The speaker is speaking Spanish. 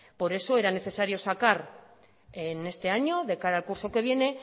por eso era necesario sacar en este año de cara al curso que viene